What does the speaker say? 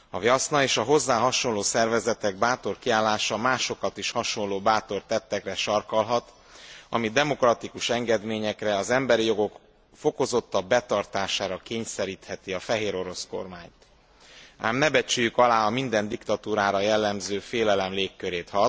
A Vjaszna és a hozzá hasonló szervezetek bátor kiállása másokat is hasonló bátor tettekre sarkallhat, ami demokratikus engedményekre, az emberi jogok fokozottabb betartására kényszerítheti a fehérorosz kormányt. Ám ne becsüljük alá a minden diktatúrára jellemző félelem légkörét.